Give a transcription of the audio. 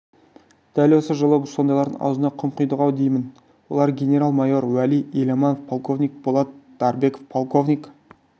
дәл осы жолы сондайлардың аузына құм құйдық-ау деймін олар генерал-майор уәли еламанов полковник болат дарбеков полковник